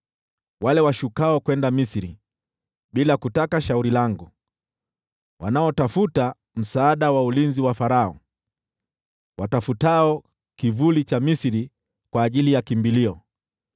wale washukao kwenda Misri bila kutaka shauri langu, wanaotafuta msaada wa ulinzi wa Farao, watafutao kivuli cha Misri kwa ajili ya kimbilio.